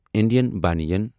Indian بنیان